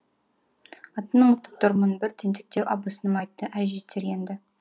атын ұмытып тұрмын бір тентектеу абысыным айтты әй жетер енді